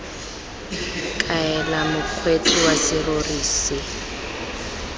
kaela mokgweetsi wa serori se